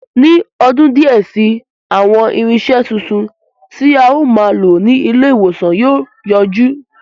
Ní ọdún díẹ̀ si, àwọn irinṣẹ́ titun, tí a ó máa lò ní ilé ìwòsàn yóò yọjú